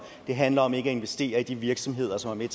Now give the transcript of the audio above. det handler om ikke at investere i de virksomheder som er